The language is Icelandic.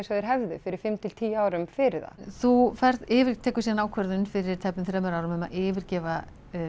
og þeir hefðu fyrir fimm til tíu árum fyrir það þú ferð yfir tekur síðan ákvörðun fyrir tæpum þremur árum um að yfirgefa